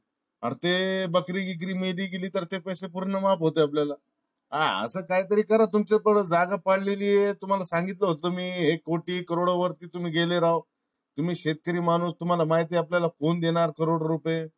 अरे ते बकरी गिकरी मेली तर ते पैसे पूर्ण माफ होते आपल्याला हा अस काय तरी करा. तुमच्यात तेवढी जागा पडलेली ये तुम्हा ला संगीतल होत मी तुम्ही हे कोटी करोडो वरती तुम्ही गेले राव तुम्ही शेतीकरी माणूस तुम्हाला माहिती ये आपल्याला कोण देणार करोडो रुपये